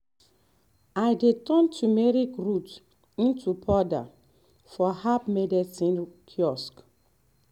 i dey turn turmeric root into powder for herb medicine kiosk